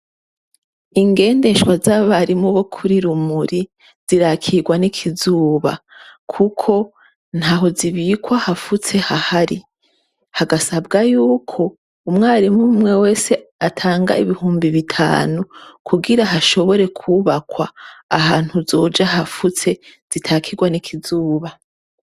Ingendeshwa z'abarimu bo kuri Rumuri zirakirwa n'ikizuba. Kuko ntaho zibikwa hafutse hahari. Hagasabwa y'uko umwarimu umw'umwe wese atanga ibihumbi bitanu kugira hashobore kubakwa ahantu heza hafutse zitakirwa n'ikizuba.